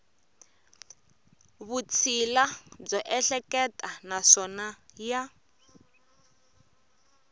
vutshila byo ehleketa naswona ya